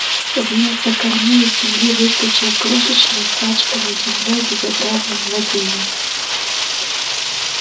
вместо корней из земли выскочил крошечный испачканный землёй безобразный младенец